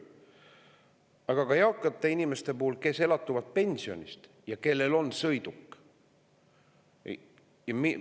Aga ka eakatel inimestel, kes elatuvad pensionist, sõiduk.